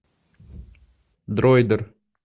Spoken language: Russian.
дроидер